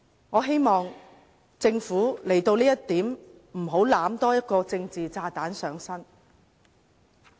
我希望政府在這一點上不要多攬一個政治炸彈上身。